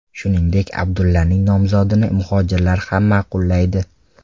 Shuningdek, Abdullaning nomzodini mujohidlar ham ma’qullaydi.